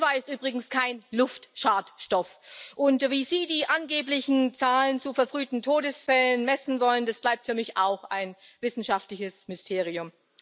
CO2 ist übrigens kein Luftschadstoff, und wie Sie die angeblichen Zahlen zu verfrühten Todesfällen messen wollen, das bleibt für mich auch ein wissenschaftliches Mysterium.